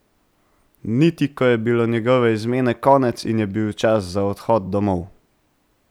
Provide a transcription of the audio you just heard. Niti ko je bilo njegove izmene konec in je bil čas za odhod domov.